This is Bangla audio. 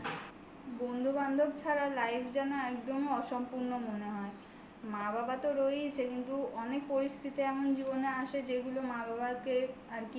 বন্ধুবান্ধব ছাড়া life যেন একদমই অসম্পূর্ণ মনে হয় মা বাবা তো রয়েইছে কিন্তু অনেক পরিস্থিতি এমন জীবনে আসে যেগুলো মা বাবাকে আর কি